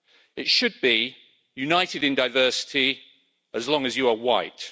It should be united in diversity, as long as you are white'.